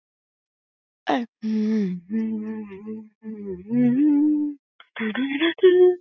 Hrund Þórsdóttir: Þú hefur ekki búist við þessu sem sagt?